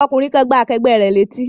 Ọkùnrin kan gbá akẹgbẹ́ rẹ̀ ní etí